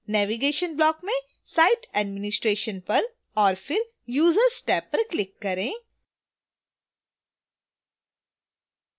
navigation block में site administration पर और फिर users टैब पर click करें